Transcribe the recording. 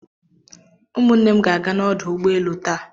Ụmụ nne m ga-aga n'ọdụ ụgbọelu taa.